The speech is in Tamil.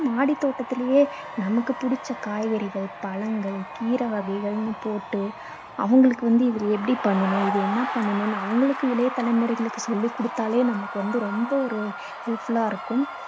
மாடித் தோட்டத்துலேயே நமக்கு புடிச்ச காய்கறிகள், பழங்கள், கீரை வகைகள்னு போட்டு, அவங்களுக்கு வந்து இது எப்படி பண்ணணும் இது என்ன பண்ணணும் அவங்களுக்கு இளைய தலைமுறைகளுக்கு சொல்லிக் கொடுத்தாலே நமக்கு வந்து ரொம்ப ஒரு useful லா இருக்கும்.